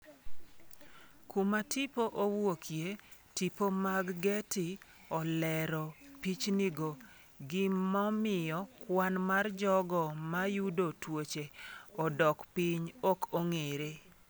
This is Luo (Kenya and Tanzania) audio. Kuma tipo owuoke, tipo mag Getty olero pichnigo, gimomiyo kwan mar jogo ma yudo tuoche odok piny ok ong’ere.